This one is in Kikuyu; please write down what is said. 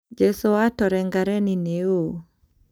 Jesũ wa Torengareni nĩ ũũ ?